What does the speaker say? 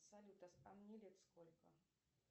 салют а мне лет сколько